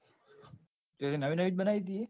નવી નવી જ બનાયી તીયે.